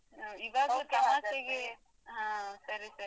ಈಗಾಗ್ಲೇ ತನ್ನಷ್ಟೆಗೆ ಹಾ ಸರಿ ಸರಿ